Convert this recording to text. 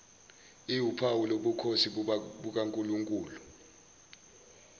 iwuphawu lobukhosi bukankulunkulu